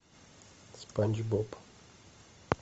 спанч боб